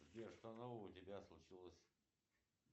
сбер что нового у тебя случилось